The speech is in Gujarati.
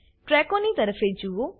ટ્રેકોની તરફે જુઓ